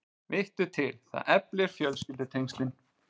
Vittu til, það eflir fjölskyldutengslin.